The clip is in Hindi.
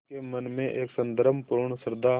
उसके मन में एक संभ्रमपूर्ण श्रद्धा